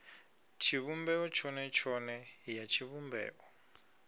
tshivhumbeo tshone tshone ya tshivhumbeo